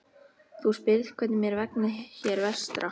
Þú spyrð hvernig mér vegni hér vestra.